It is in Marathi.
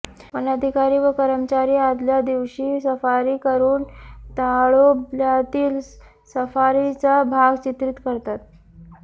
वन अधिकारी व कर्मचारी आदल्या दिवशी सफारी करून ताडोब्यातील सफारीचा भाग चित्रित करतात